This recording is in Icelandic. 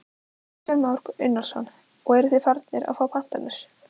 Kristján Már Unnarsson: Og eruð þið farnir að fá pantanir?